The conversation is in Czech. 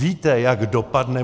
Víte, jak dopadne.